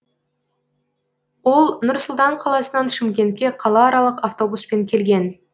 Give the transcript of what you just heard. ол нұр сұлтан қаласынан шымкентке қалааралық автобуспен келген